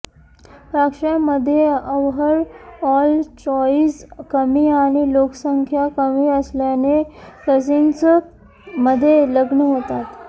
पार्श्यांमध्ये overall choice कमी आणि लोकसंख्या कमी असल्याने कझिन्स मध्ये लग्न होतात